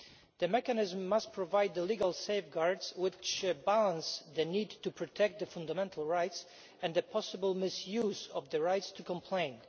The mechanism must provide legal safeguards which balance the need to protect fundamental rights with the possible misuse of the right to complain.